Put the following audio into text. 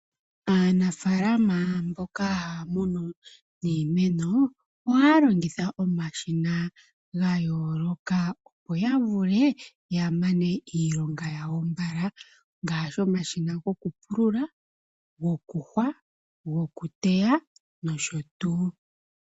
Aanafaalama mboka haya munu iimeno ohaya longitha omashina gayooloka opo ya vule yamane iilonga yawo mbala ngaashi omashina gokupulula, gokuhwa, gokuteya noshotuu.